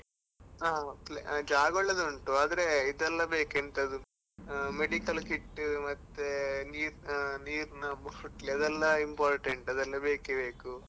ಹಾ ಜಾಗ ಒಳ್ಳೆದುಂಡು ಆದ್ರೆ ಇದೆಲ್ಲ ಬೇಕು ಎಂತದು medical kit ಮತ್ತೆ ನೀರ್ ನೀರ್ನ bottle ಅದೆಲ್ಲ important ಅದೆಲ್ಲ ಬೇಕೇ ಬೇಕು.